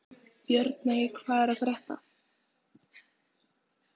Björney, hvað er að frétta?